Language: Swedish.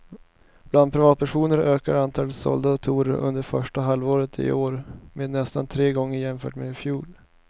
Bland privatpersoner ökade antalet sålda datorer under första halvåret i år med nästan tre gånger jämfört med i fjol.